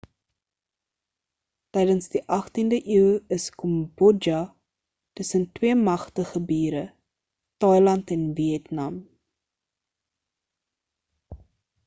tydens die 18de eeu is kambodja tussen twee magtige bure thailand en vietnam